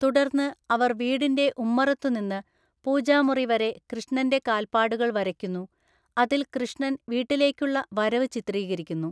തുടർന്ന് അവർ വീടിന്റെ ഉമ്മറത്തുനിന്ന് പൂജാമുറി വരെ കൃഷ്ണന്റെ കാൽപ്പാടുകൾ വരയ്ക്കുന്നു, അതിൽ കൃഷ്ണൻ വീട്ടിലേക്കുള്ള വരവ് ചിത്രീകരിക്കുന്നു.